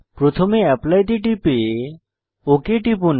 প্রথমে অ্যাপলি তে টিপে ওক টিপুন